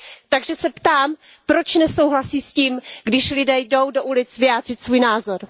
Takže se ptám Proč nesouhlasíte s tím, když lidé jdou do ulic vyjádřit svůj názor?